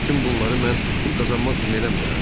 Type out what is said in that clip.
Bütün bunları mən pul qazanmaq üçün eləmirəm?